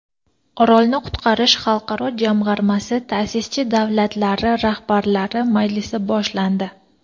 Orolni qutqarish xalqaro jamg‘armasi ta’sischi davlatlari rahbarlari majlisi boshlandi.